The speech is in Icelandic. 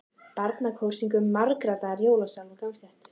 Barnakór syngur margraddaðan jólasálm á gangstétt.